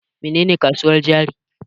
Mene ne kasuwar jari?